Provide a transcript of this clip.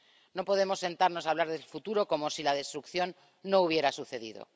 No podemos sentarnos a hablar del futuro como si la destrucción no hubiera sucedido.